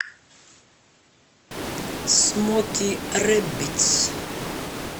смоки рэббитс